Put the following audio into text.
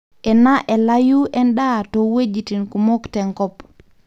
ena alayu endaa toweujitin kumok tenkop.